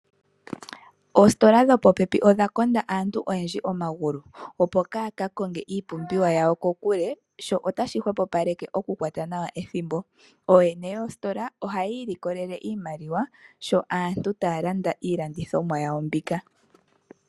Oositola dho popepi odha konda aantu oyendji omagulu, opo kaa ya ka konge iipumbiwa yawo kokule, sho ota shi hwepopaleke oku kwata nawa ethimbo. Ooyene yoositola oha yi ilikolele iimaliwa, sho aantu taa landa iilandithomwa yawo mbika.